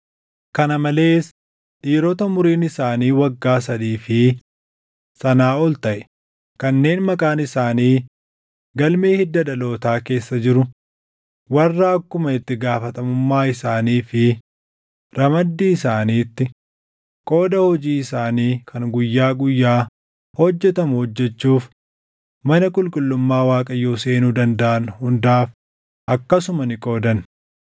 Kana malees dhiirota umuriin isaanii waggaa sadii fi sanaa ol taʼe kanneen maqaan isaanii galmee hidda dhalootaa keessa jiru warra akkuma itti gaafatamummaa isaanii fi ramaddii isaaniitti qooda hojii isaanii kan guyyaa guyyaa hojjetamu hojjechuuf mana qulqullummaa Waaqayyoo seenuu dandaʼan hundaaf akkasuma ni qoodan.